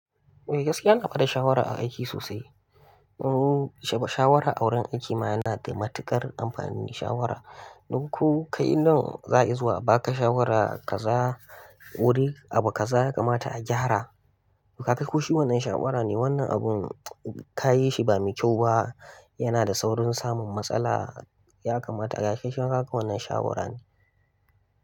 Eh gaskiya yana bada shawara a aiki sosai. Shawara a wurin aiki ma yana da matuƙar amfanin shawara. Don ko kai nan za a iya zuwa a ba ka shawara wuri abu kaza ya kamata a gyara. Ka ga ko shi wannan shawara ne wannan abun ka yi shi ba mai kyau ba yana da saurin samun matsala ya kamata ka kai shi maka wannan shawara ne.